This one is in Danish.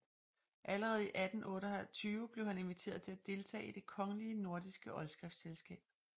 Allerede i 1828 blev han inviteret til at deltage i Det kongelige Nordiske Oldskriftselskab